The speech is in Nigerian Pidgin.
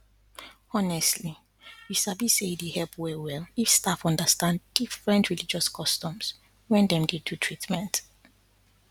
honestly you sabi say e dey help well well if staff understand different religious customs when dem dey do treatment